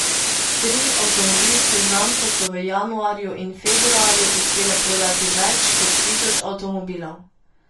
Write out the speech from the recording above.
Tri avtomobilske znamke so v januarju in februarju uspele prodati več kot tisoč avtomobilov.